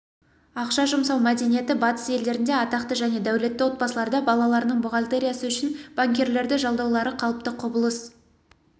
ақша жұмсау мәдениеті батыс елдерінде атақты және дәулетті отбасыларда балаларының бухгалтериясы үшін банкирлерді жалдаулары қалыпты құбылыс